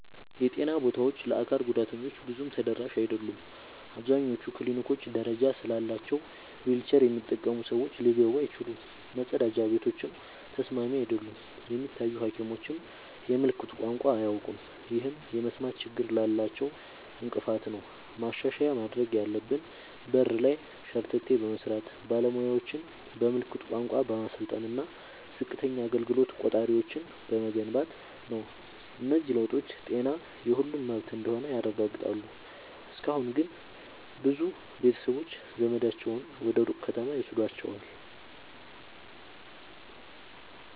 የጤና ቦታዎች ለአካል ጉዳተኞች ብዙም ተደራሽ አይደሉም። አብዛኞቹ ክሊኒኮች ደረጃ ስላላቸው ዊልቸር የሚጠቀሙ ሰዎች ሊገቡ አይችሉም፤ መጸዳጃ ቤቶችም ተስማሚ አይደሉም። የሚታዩ ሐኪሞችም የምልክት ቋንቋ አያውቁም፣ ይህም የመስማት ችግር ላላቸው እንቅፋት ነው። ማሻሻያ ማድረግ ያለብን በር ላይ ሸርተቴ በመስራት፣ ባለሙያዎችን በምልክት ቋንቋ በማሰልጠን እና ዝቅተኛ አገልግሎት ቆጣሪዎችን በመገንባት ነው። እነዚህ ለውጦች ጤና የሁሉም መብት እንደሆነ ያረጋግጣሉ። እስካሁን ግን ብዙ ቤተሰቦች ዘመዳቸውን ወደ ሩቅ ከተማ ይወስዷቸዋል።